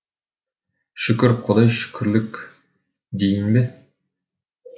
шүкір құдай шүкірлік дейін бе